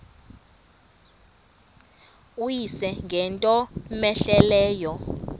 uyise ngento cmehleleyo